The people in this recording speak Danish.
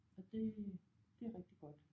Og det det er rigtig godt